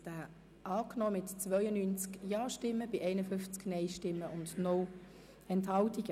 Sie haben diesen Antrag angenommen mit 92 Ja- gegen 51 Nein-Stimmen bei 0 Enthaltungen.